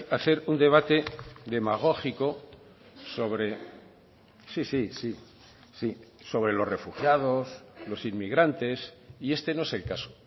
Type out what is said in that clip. a hacer un debate demagógico sobre sí sí sí sobre los refugiados los inmigrantes y este no es el caso